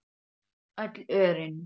Öll örin.